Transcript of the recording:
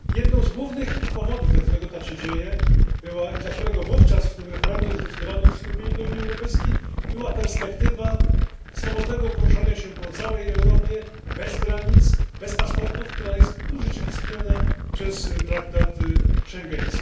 Jednym z głównych powodów, dla których tak się dzieje i dla którego wówczas w tym referendum zdecydowano o przystąpieniu do Unii Europejskiej, była perspektywa swobodnego poruszania się po całej Europie bez granic, bez paszportów, która jest urzeczywistniona przez traktat z Schengen.